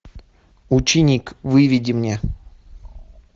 ученик выведи мне